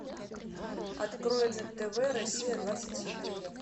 открой на тв россия двадцать четыре